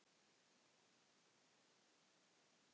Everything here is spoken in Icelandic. Hann klappar mér á bakið.